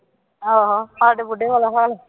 ਆਹੋ ਮਾਂ ਅਤੇ ਬੁੱਢੇ ਵਾਲਾ ਹਾਲ